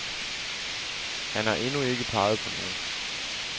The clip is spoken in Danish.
Han har endnu ikke peget på nogen.